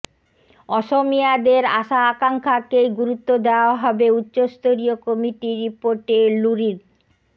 অসমিয়াদের আশা আকাঙ্খাকেই গুরুত্ব দেওয়া হবে উচ্চস্তরীয় কমিটির রিপোর্টেঃ লুরিন